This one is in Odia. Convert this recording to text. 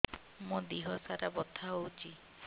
ମୋ ଦିହସାରା ବଥା ହଉଚି